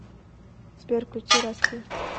сбер включи расти